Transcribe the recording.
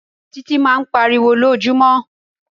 Títí máa ń pariwo lójoojúmọ́.